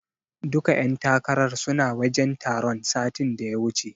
Duka ƴan takarar suna wajen taron satin da ya wuce.